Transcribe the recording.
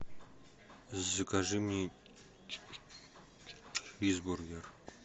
закажи мне чизбургер